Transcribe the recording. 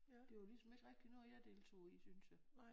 Det var ligesom ikke rigtigt noget jeg deltog i synes jeg